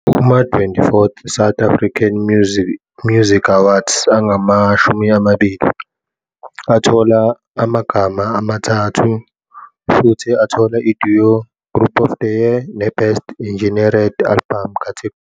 Kuma- 24th South African Music Awards, "angama-20" athola amagama amathathu futhi athola iDuo - Group of the Year neBest Engineered album catergory.